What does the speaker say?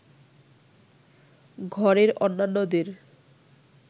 ঘরের অন্যান্যদের